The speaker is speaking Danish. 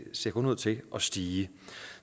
ser kun ud til at stige